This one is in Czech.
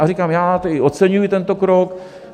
A říkám, já oceňuji tento krok.